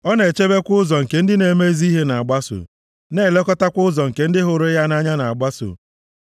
Ọ na-echebekwa ụzọ nke ndị na-eme ezi ihe na-agbaso, na-elekọtakwa ụzọ nke ndị hụrụ ya nʼanya na-agbaso.